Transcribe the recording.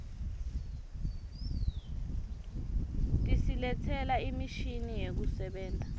tisiletsela imishini yekusebenta